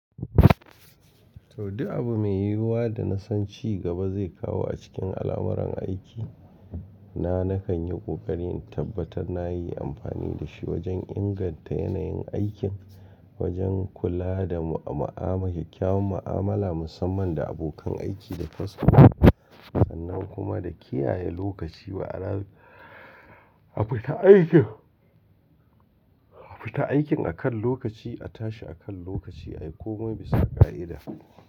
Du abu mai yiwa da na san ci gaba zai kawo a cikin alamuran aiki na, nakan yi ƙoƙari in tabbatar na yi amfani da shi wajen inganta yanayin aikin, wajen kula da ma'ama, kyakkyawan ma'amala musamman da abokan aiki da kasuwanni, sannan kuma da kiyaye lokaci wa, abu ta aikin, afita aikin akan lokaci, a tashi akan lokaci, a yi komai bisa ƙa'ida.